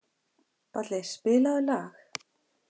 Balli, spilaðu lag.